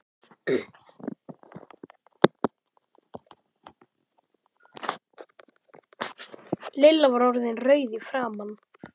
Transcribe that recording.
Lilla var orðin rauð í framan.